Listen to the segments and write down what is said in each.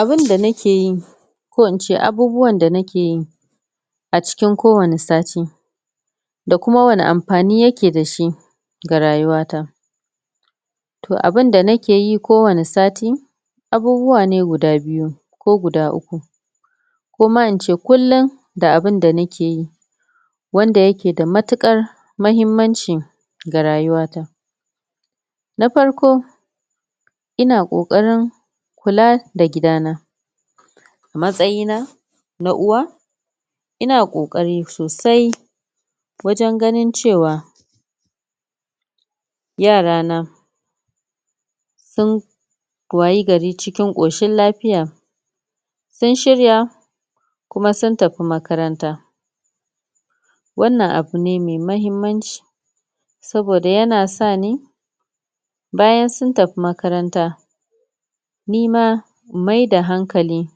Abunda nakeyi ko in ce Abubuwan da nakeyi. a cikin kowanne Sati da kuma wanne amfani yake da shi ga rayuwata. To abunda nakeyi kowanne sati, abubuwane guda biyu ko guda uku. Ko ma ince kullum da abinda nakeyi wanda yaje da mutuƙar mahimmanci ga rayuwata. Na Farko: Ina ƙoƙarin kula da gidana, a matsayina na Uwa, ina ƙoƙari sosai wajen ganin cewa yara na sun wayi gari cikin ƙoshin lafiya, sun shirya kuma sun tafi makaranta. Wannan abune mai mahimmanci, saboda yana sani bayan sun tafi makaranta ni ma in mai da hankalai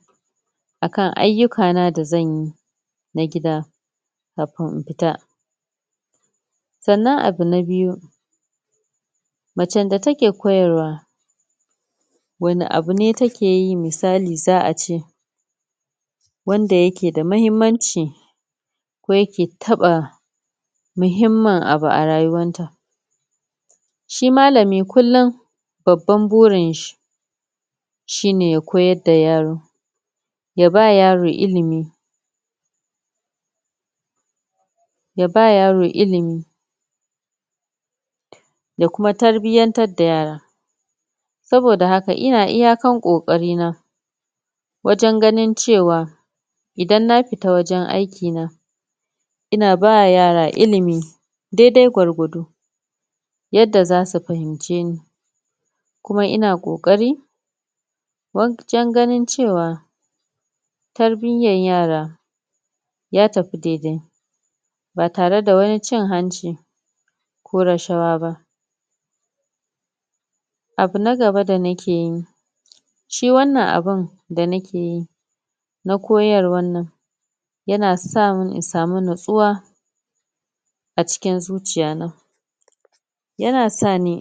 akan ayyukana da zanyi. na gida kafin in fita. Sannan abu na Biyu: Macen da take koyrwa, wanne abune takeyi misali za'a ce wanda yake da muhimmanci ko yake taɓa muhimmin abu a rayuwarta? Shi Malami kullum babban burinshi shine ya koyar da yaro, ya ba yaro ilimi, ya ba yaro ilimi, ya kuma tarbiyantar da yaron. Saboda haka ina iyakan ƙoƙarina, wajen ganin cewa, idan na fita wajen aikina ina ba yara ilimi, dai-dai gwargwado yadda za su fahimce ni kuma ina ƙokari wajen ganin cewa tarbiyar yara ya tafi dai-dai ba tare da wani cin hanci ko rashawa ba. Abu na gaba da nakeyi, sahi wannnan abun da nakeyi no koyarwar nan yana samun in samu natsuwa a cikin zuciya na. Yana sa ni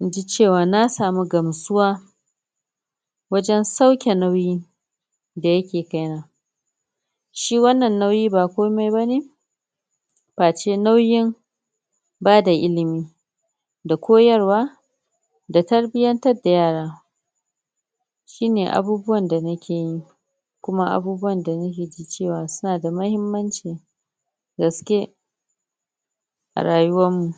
in ji cewa na samu gamsuwa wajen sauke nauyi da yake kaina. Shi wannan nauyi ba komai bane facewnauyin ba da ilimi da koyarwa da tarbiyantar da yara shine abubuwan da nakeyi kuma abubuwan da nake ta cewa suna da muhimmanci gaske a rayuwarmu.